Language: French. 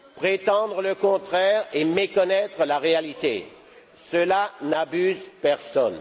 Prétendre le contraire est méconnaître la réalité, cela n'abuse personne.